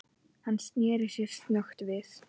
Hann sneri sér snöggt við.